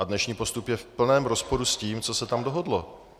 A dnešní postup je v plném rozporu s tím, co se tam dohodlo.